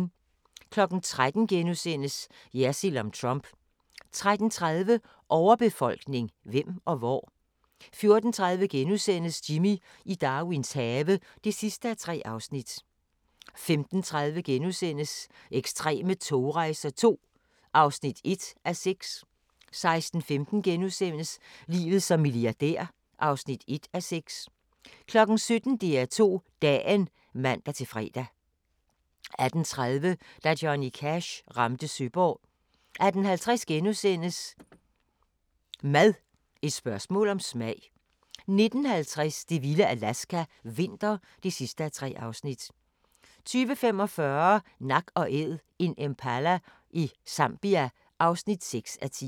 13:00: Jersild om Trump * 13:30: Overbefolkning – hvem og hvor? 14:30: Jimmy i Darwins have (3:3)* 15:30: Ekstreme togrejser II (1:6)* 16:15: Livet som milliardær (1:6)* 17:00: DR2 Dagen (man-fre) 18:30: Da Johnny Cash ramte Søborg 18:50: Mad – et spørgsmål om smag * 19:50: Det vilde Alaska – vinter (3:3) 20:45: Nak & Æd – en impala i Zambia (6:10)